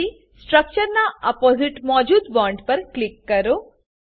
પછી સ્ટ્રક્ચરના અપોસીટ મોજુદ બોન્ડ્સ પર ક્લિક કરો